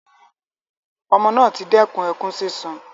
Ọmọ naa ti dẹkùn ẹkun sisùn